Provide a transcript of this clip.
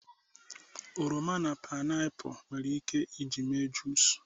oroma na painiapu nwere ike iji mee juice